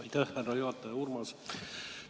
Aitäh, härra juhataja!